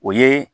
O ye